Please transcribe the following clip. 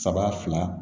Saba fila